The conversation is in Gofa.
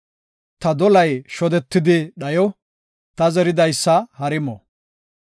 ta dolay shodetidi dhayo; ta zeridaysa hari mo.